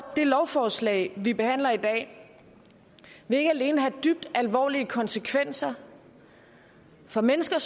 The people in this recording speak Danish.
det lovforslag vi behandler i dag ikke alene have dybt alvorlige konsekvenser for mennesker